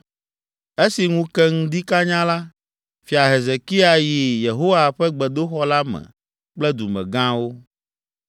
Esi ŋu ke ŋdi kanyaa la, Fia Hezekia yi Yehowa ƒe gbedoxɔ la me kple dumegãwo.